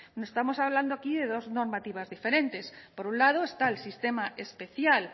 no estamos hablando aquí de dos normativas diferentes por un lado está el sistema especial